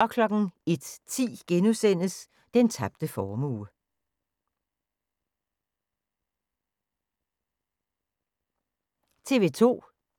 TV 2